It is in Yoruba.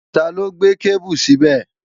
Taló gbé kébù síbẹ̀?